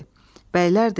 Bəylər dedi.